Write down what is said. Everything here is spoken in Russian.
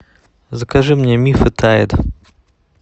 закажи мне миф и тайд